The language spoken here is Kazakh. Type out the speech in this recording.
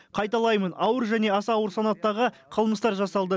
қайталаймын ауыр және аса ауыр санаттағы қылмыстар жасалды